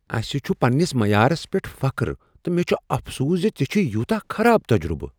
أسہ چھ پننس معیارس پیٹھ فخر تہٕ مےٚ چھُ افسوس ز ژےٚ چھُےیوتاہ خراب تجربہٕ۔